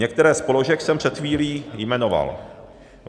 Některé z položek jsem před chvílí jmenoval.